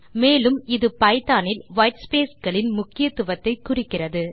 மேலும் இது பைத்தோன் இல் white ஸ்பேஸ் களின் முக்கியத்துவத்தை குறிக்கிறது